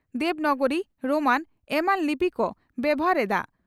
Devanagari Roman ᱮᱢᱟᱱ ᱞᱤᱯᱤ ᱠᱚ ᱵᱮᱵᱷᱟᱨ ᱮᱫᱼᱟ ᱾